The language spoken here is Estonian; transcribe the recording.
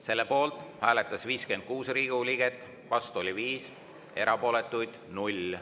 Selle poolt hääletas 56 Riigikogu liiget, vastu oli 5, erapooletuid 0.